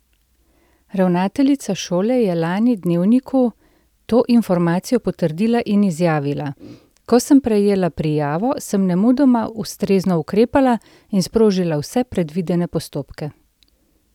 Ravnateljica šole je lani Dnevniku to informacijo potrdila in izjavila: "Ko sem prejela prijavo, sem nemudoma ustrezno ukrepala in sprožila vse predvidene postopke.